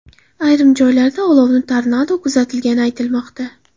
Ayrim joylarda olovni tornado kuzatilgani aytilmoqda.